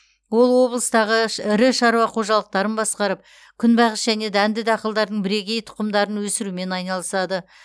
ол облыстағы ірі шаруа қожалықтарын басқарып күнбағыс және дәнді дақылдардың бірегей тұқымдарын өсірумен айналысады